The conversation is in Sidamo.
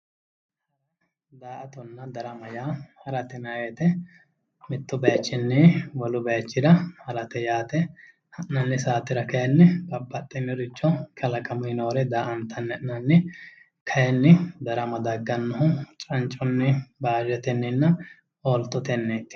Daa'atona darama yaa harate yinayi woyite mittu bayichinni wolu bayichira harate yaate ha'nanni saatera kayinni babbaxxinoricho kalaqamuyi nooricho daa'antanni ha'nanni kayinni darama daggannohu cancunni baashetenninna ooltotenniiti